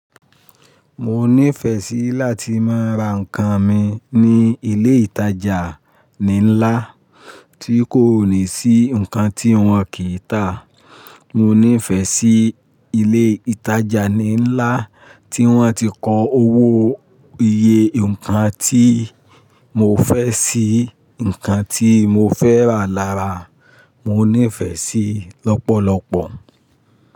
Mo nífẹ̀ẹ́ sí láti máa ra nǹkan mi ní ilé ìtajà linla tí kò ní sí nǹkan tí wọ́n kì í tà. Mo nífẹ̀ẹ́ sí ilé ìtajà lińlá tí wọ́n ti ko owó iye nǹkan tí mo fẹ́ sí, nǹkan tí mo fẹ́ rà lára mo nífẹ̀ẹ́ sí lọ́pọ̀lọpọ̀.